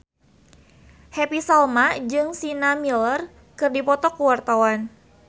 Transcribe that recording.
Happy Salma jeung Sienna Miller keur dipoto ku wartawan